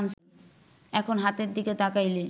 এখন হাতের দিকে তাকাইলে